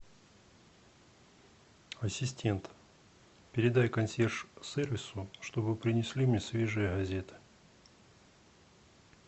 ассистент передай консьерж сервису чтобы принесли мне свежие газеты